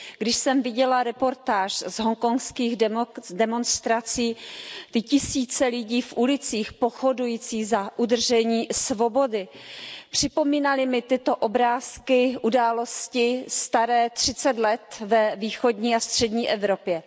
Když jsem viděla reportáž z hongkongských demonstrací, ty tisíce lidí v ulicích pochodující za udržení svobody, připomínaly mi tyto obrázky události staré třicet let ve východní a střední Evropě.